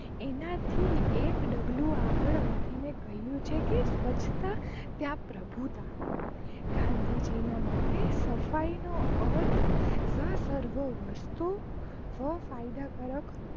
આનાથી એક ડગલું આગળ વધીને કહિઉ છે લ સ્વચ્છતા ત્યાં પ્રભુતા ગાંધી જી ના મતે સફાઈ નો અર્થ સ્વતચ્છ વસ્તુ સ્વ ફાયદા કારક